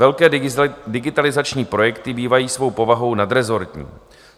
Velké digitalizační projekty bývají svou povahou nadrezortní.